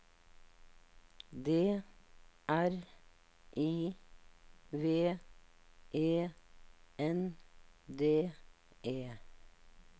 D R I V E N D E